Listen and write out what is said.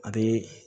A bee